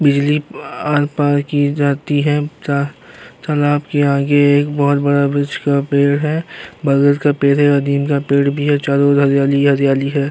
बिजली आर-पार की जाती है। च तालाब के आगे एक बोहोत बड़ा वृक्ष का पेड़ है बरगद का पेड़ है और नीम का पेड़ भी है। चारों ओर हरियाली ही हरियाली है।